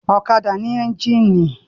Ọ̀kadà ní ẹ́ńjínì.